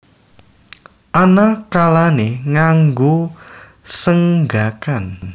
Ana kalané nganggo senggakan